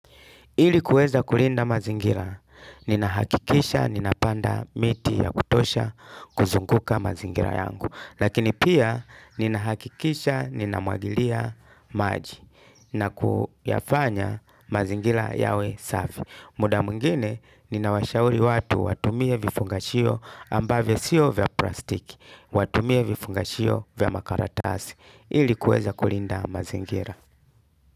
Ili kuweza kulinda mazingira, ninahakikisha ninapanda miti ya kutosha kuzunguka mazingira yangu. Lakini pia ninahakikisha ninamwagilia maji na kuyafanya mazingira yawe safi. Muda mwingine, ninawashauri watu watumie vifungashio ambavyo siyo vya plastiki. Watumie vifungashio vya makaratasi. Ili kueza kulinda mazingira.